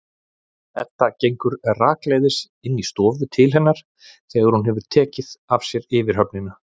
Edda gengur rakleiðis inn í stofu til hennar þegar hún hefur tekið af sér yfirhöfnina.